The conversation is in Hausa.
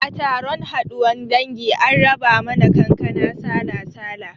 A taron haduwan dangi an raba mana kankana sala-sala